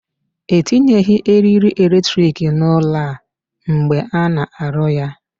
E tinyeghị eriri electric n'ụlọ a mgbe a na-arụ ya.